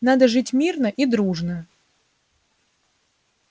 надо жить мирно и дружно